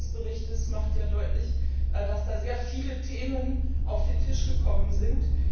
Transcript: Die Länge des Berichts macht ja deutlich, dass da sehr viele Themen auf den Tisch gekommen sind.